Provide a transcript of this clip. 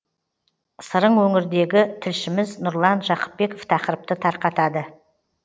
сырың өңірдегі тілшіміз нұрлан жақыпбеков тақырыпты тарқатады